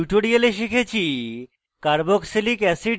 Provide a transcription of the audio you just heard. in tutorial শিখেছি: